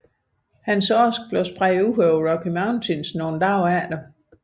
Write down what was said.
Hans aske blev spredt ud over Rocky Mountains nogle dage efter